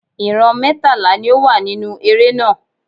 Ìran mẹ́tàlá ni ó wà nínú eré náà.